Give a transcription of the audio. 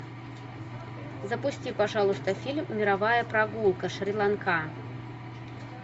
запусти пожалуйста фильм мировая прогулка шри ланка